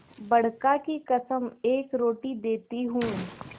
बड़का की कसम एक रोटी देती हूँ